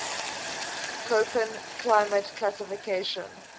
koppen climate classification